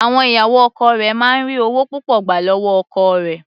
Àwọn ìyàwó ọkọ rẹ̀ máa ń ri ọwọ́ púpọ̀ gbà lọ́wọ́ ọkọ rẹ̀.